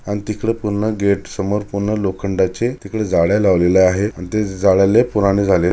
अन तिकडे पूर्ण गेट समोर पूर्ण लोखंडाचे तिकडे जाळे लावलेले आहे अन ते जाळे लय पुराने झालेत.